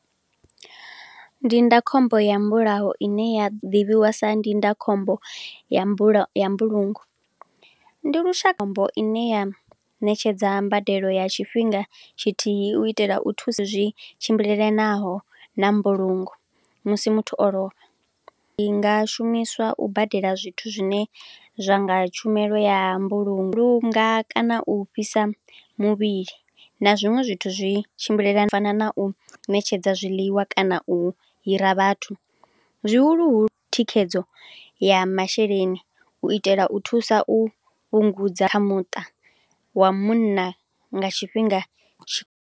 Ndindakhombo ya mbulawo ine ya ḓivhiwa sa ndindakhombo ya mbula, ya mbulungo. Ndi lushambo ine ya ṋetshedza mbadelo ya tshifhinga tshithihi u itela u thuse zwi tshimbilelanaho na mbulungo musi muthu o lovha. I nga shumiswa u badela zwithu zwine zwanga tshumelo ya mbulungo, u luga kana u fhisa muvhili na zwiṅwe zwithu zwi tshimbile, u fana na u ṋetshedza zwiḽiwa kana u hira vhathu. Zwihuluhulu thikhedzo ya masheleni, u itela u thusa u fhungudza kha muṱa wa munna nga tshifhinga tshi.